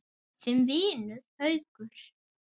Þinn vinur, Haukur.